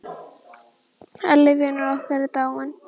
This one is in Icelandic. Elli vinur okkar er dáinn.